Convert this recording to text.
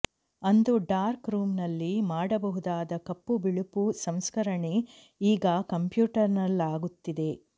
ಅಂದು ಡಾರ್ಕ್ ರೂಂನಲ್ಲಿ ಮಾಡಬಹುದಾದ ಕಪ್ಪುಬಿಳುಪು ಸಂಸ್ಕರಣೆ ಈಗ ಕಂಪ್ಯೂಟರ್ನಲ್ಲಾಗುತ್ತಿದೆ